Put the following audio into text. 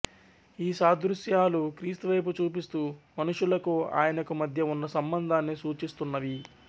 ఈ సాదృశ్యాలు క్రీస్తువైపు చూపిస్తూ మనుషులకు ఆయనకు మధ్య ఉన్న సంబంధాన్ని సూచిస్తున్నవి